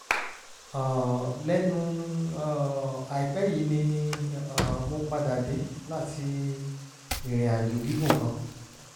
um lẹ́nu um àìpẹ́ yìí ni um mo padà dé láti ìrìn àjò gígùn kan